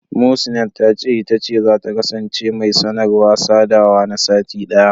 Muhsinat ta ce, ita ce zata kasance mai sanarwa/sadawa na sati ɗaya.